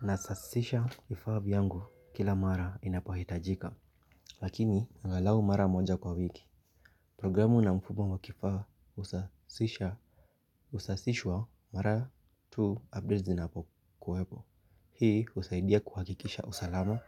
Nasasisha kifaa vyangu kila mara inapohitajika. Lakini angalau mara moja kwa wiki. Programu na mfuno mwa kifaa husasisha. Husasishwa mara tu updates zinapokuwepo. Hii husaidia kuhakikisha usalama.